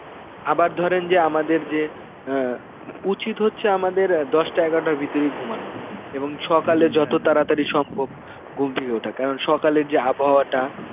আবার ধরেন যে আমাদের যে অ্যাঁ উচিত হচ্ছে আমাদের অ্যাঁ দশটা এগারটার ভিতরে ঘুমানো এবং সকালে যত তাড়াতাড়ি সম্ভব ঘুম থেকে ওঠা, কারণ সকালের যে আবহাওয়াটা